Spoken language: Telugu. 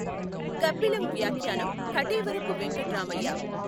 గబ్బిలం వ్యాఖ్యానం కఠెవరపు వెంకట్రామయ్య